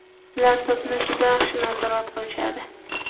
Ular to‘pni juda yaxshi nazorat qilishadi.